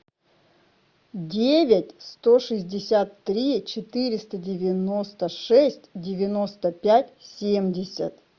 девять сто шестьдесят три четыреста девяносто шесть девяносто пять семьдесят